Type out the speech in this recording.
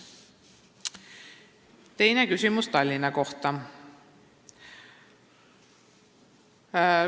Teine küsimus on Tallinna kohta.